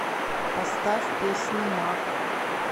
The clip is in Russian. поставь песню маг